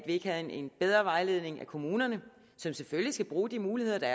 ikke har en bedre vejledning til kommunerne som selvfølgelig skal bruge de muligheder der